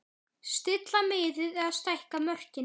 Stilla miðið eða stækka mörkin?